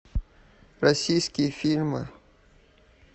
российские фильмы